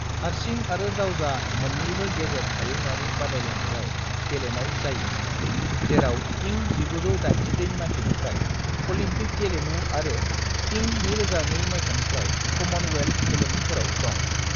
हारसिं आरो जावजा मोननैबो गेजेर हायुंआरि बादायलायनायाव गेलेनाय जायो, जेराव इं 1988 माइथायनिफ्राय अलिम्पिक गेलेमु आरो इं 2002 माइथायनिफ्राय कमनवेल्थ गेलेमुफोराव दं।